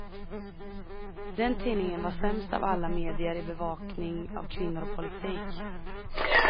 Den tidningen var sämst av alla medier i bevakning av kvinnor och politik.